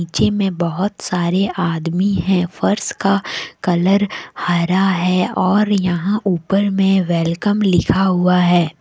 में बहुत सारे आदमी हैं फर्श का कलर हरा है और यहां ऊपर में वेलकम लिखा हुआ है।